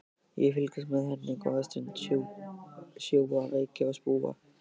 Ég fylgist með henni góða stund, sjúga reyk og spúa.